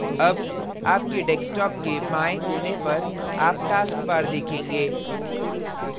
अब आपके desktop के बाएँ कोने पर आप taskbar देखेंगे